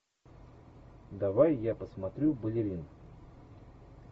давай я посмотрю балерин